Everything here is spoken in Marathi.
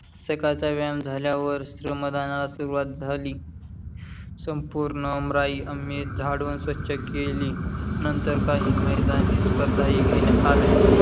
सकळचा व्यायाम झाल्या वर, श्रमदानाला सुरवात झाली संपूर्ण आमराई आम्ही झाडून स्वछ केली. नंतर काही मैदानी स्पर्धा ही घेण्यात आल्या.